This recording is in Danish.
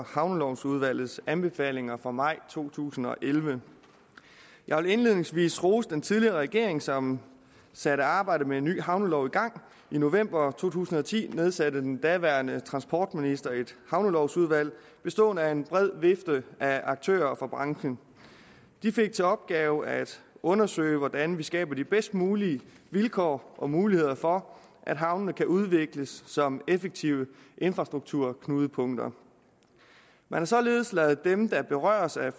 havnelovudvalgets anbefalinger fra maj to tusind og elleve jeg vil indledningsvis rose den tidligere regering som satte arbejdet med en ny havnelov i gang i november to tusind og ti nedsatte den daværende transportminister et havnelovudvalg bestående af en bred vifte af aktører fra branchen de fik til opgave at undersøge hvordan vi skaber de bedst mulige vilkår og muligheder for at havnene kan udvikles som effektive infrastrukturknudepunkter man har således ladet dem der berøres af